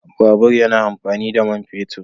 Babur yana amfani da man fetur